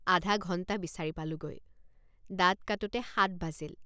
আধাঘণ্টা বিচাৰি পালোঁগৈ। আধাঘণ্টা বিচাৰি পালোঁগৈ। দাঁত কাটোতে সাত বাজিল।